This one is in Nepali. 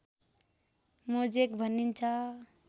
मोजेक भनिन्छ